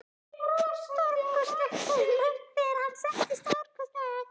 Stórkostlegt, sagði Mark þegar hann settist, stórkostlegt.